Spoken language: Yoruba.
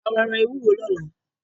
A máa ra ewúro lọ́la.